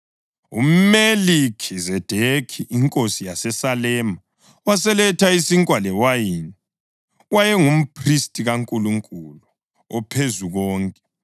UMelikhizedekhi inkosi yaseSalema, waseletha isinkwa lewayini. Wayengumphristi kaNkulunkulu oPhezukonke,